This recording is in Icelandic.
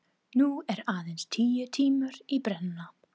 Nú eru aðeins tíu tímar í brennuna.